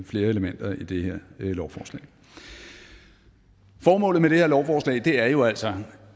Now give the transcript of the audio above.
flere elementer i det her lovforslag formålet med det her lovforslag er jo altså